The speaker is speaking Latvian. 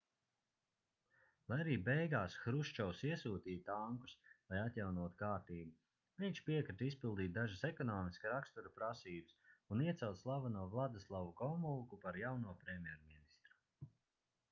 lai arī beigās hruščovs iesūtīja tankus lai atjaunotu kārtību viņš piekrita izpildīt dažas ekonomiska rakstura prasības un iecelt slaveno vladislavu gomulku par jauno premjerministru